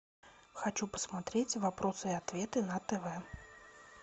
хочу посмотреть вопросы и ответы на тв